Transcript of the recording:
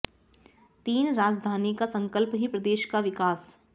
तीन राजधानी का संकल्प ही प्रदेश का विकास